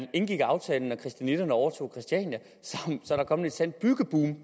indgik aftalen og christianitterne overtog christiania er der kommet et sandt byggeboom